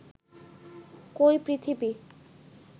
কই পৃথিবী